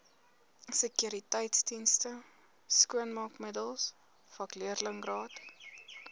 sekuriteitsdienste skoonmaakmiddels vakleerlingraad